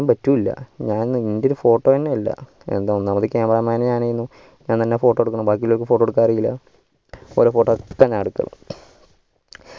പറ്റൂല ഞാൻ എന്തിന് photo ന്നെ ഇല്ല എന്താ ഒന്നാമത് cameraman ഞാനായിനു ഞാൻ തന്നെ photo എടുക്കണം ബാകില്ലർക്ക് photo എടുക്കനാറീല ഒറേ photo ഞാൻ എടുക്കണം